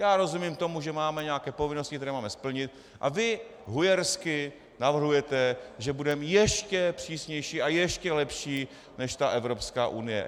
Já rozumím tomu, že máme nějaké povinnosti, které máme splnit, a vy hujersky navrhujete, že budeme ještě přísnější a ještě lepší než ta Evropská unie.